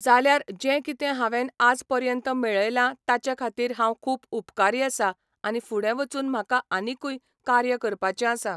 जाल्यार जें कितें हांवेंन आज पर्यंत मेळयलां ताचे खातीर हांव खूब उपकारी आसा आनी फुडें वचून म्हाका आनीकूय कार्य करपाचें आसा